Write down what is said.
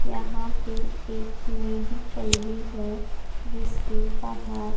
यहां पे एक मेडिकल भी है जिसके बाहर--